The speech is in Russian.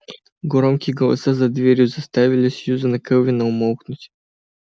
громкие голоса за дверью заставили сьюзен кэлвин умолкнуть